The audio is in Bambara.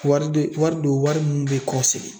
Wari de wari don wari mun bɛ kɔ segin.